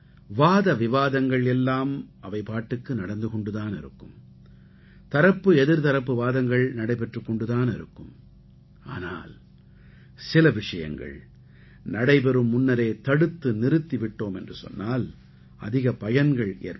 வாத விவாதங்கள் எல்லாம் அவை பாட்டுக்கு நடந்து கொண்டு தான் இருக்கும் தரப்பு எதிர்த்தரப்பு வாதங்கள் நடைபெற்றுக் கொண்டு தான் இருக்கும் ஆனால் சில விஷயங்கள் நடைபெறும் முன்னரே தடுத்து நிறுத்தி விட்டோமென்று சொன்னால் அதிக பயன்கள் ஏற்படும்